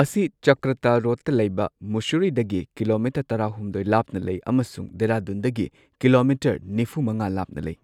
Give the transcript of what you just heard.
ꯃꯁꯤ ꯆꯀ꯭ꯔꯇ ꯔꯣꯗꯇ ꯂꯩꯕ ꯃꯨꯁꯨꯔꯤꯗꯒꯤ ꯀꯤꯂꯣꯃꯤꯇꯔ ꯇꯔꯥꯍꯨꯝꯗꯣꯏ ꯂꯥꯞꯅ ꯂꯩ ꯑꯃꯁꯨꯡ ꯗꯦꯍꯔꯥꯗꯨꯟꯗꯒꯤ ꯀꯤꯂꯣꯃꯤꯇꯔ ꯅꯤꯐꯨ ꯃꯉꯥ ꯂꯥꯞꯅ ꯂꯩ꯫